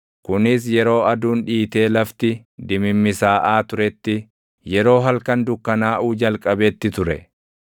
Kunis yeroo aduun dhiitee lafti dimimmisaaʼaa turetti, yeroo halkan dukkanaaʼuu jalqabetti ture.